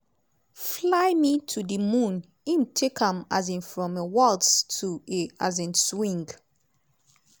fly me to di moon - im take am um from a waltz to a um swing.